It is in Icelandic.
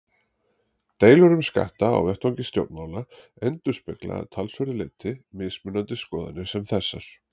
Deilur um skatta á vettvangi stjórnmála endurspegla að talsverðu leyti mismunandi skoðanir sem þessar.